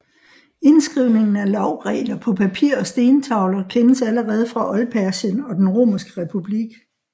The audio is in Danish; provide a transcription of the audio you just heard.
Indskrivningen af lovregler på papir og stentavler kendes allerede fra Oldpersien og den Romerske republik